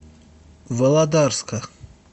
володарска